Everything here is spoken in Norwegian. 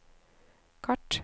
kart